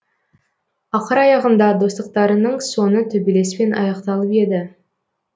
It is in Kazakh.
ақыр аяғында достықтарының соңы төбелеспен аяқталып еді